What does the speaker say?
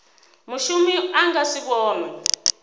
mushumi a nga si vhonwe